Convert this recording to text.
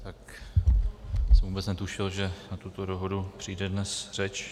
Já jsem vůbec netušil, že na tuto dohodu přijde dnes řeč.